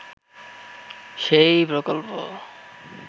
সেই প্রকল্প